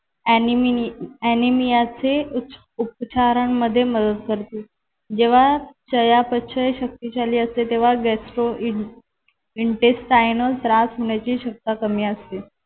ॲनिमि ॲनिमियाचे उप उपचारांमध्ये मदत करते जेव्हा चयापचय शक्तिशाली असते तेव्हा gastrointestinal त्रास होण्याची शक्यता कमी असते.